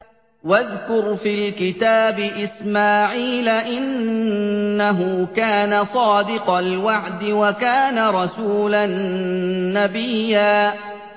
وَاذْكُرْ فِي الْكِتَابِ إِسْمَاعِيلَ ۚ إِنَّهُ كَانَ صَادِقَ الْوَعْدِ وَكَانَ رَسُولًا نَّبِيًّا